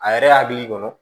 A yɛrɛ hakili la